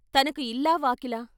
తనకి ఇల్లా వాకిలా?